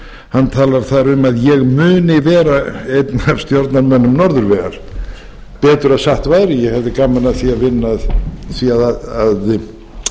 hann talar þar um að ég muni vera einn af stjórnarmönnum norðurvegar betur að satt væri ég hefði gaman af vinna að því